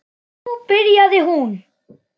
Og nú byrjaði hún.